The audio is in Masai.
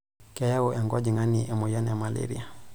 Keyau enkojong'ani emoyian e maleria.